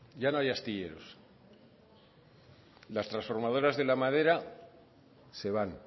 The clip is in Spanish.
ya no hay astilleros las transformadoras de la madera se van